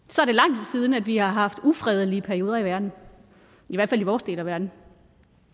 er vi har haft ufredelige perioder i verden i hvert fald i vores del af verden